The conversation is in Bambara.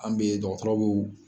An bɛ dɔgɔtɔrɔw.